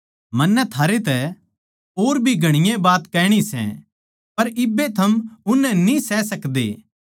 मन्नै थारै तै और भी घणीए बात कहणी सै पर इब्बे थम उननै सह न्ही सकदे